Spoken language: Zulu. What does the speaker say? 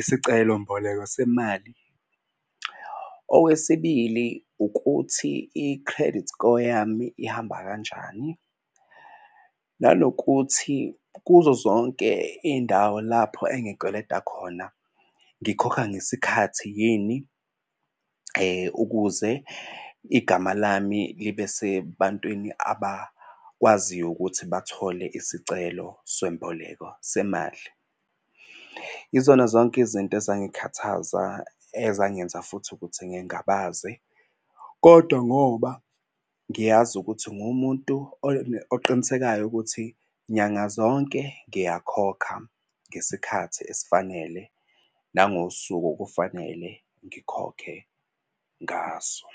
isicelo mboleko semali. Owesibili ukuthi i-credit score yami ihamba kanjani? Nanokuthi kuzo zonke iy'ndawo lapho engikweleta khona ngikhokha ngesikhathi yini ukuze igama lami libe sebantwini abakwaziyo ukuthi bathole isicelo swemboleko semali. Yizona zonke izinto ezangikhathaza ezangenza futhi ukuthi ngingabaze kodwa ngoba ngiyazi ukuthi ngumuntu oqinisekayo ukuthi nyanga zonke ngiyakhokha ngesikhathi esifanele nangosuku okufanele ngikhokhe ngaso.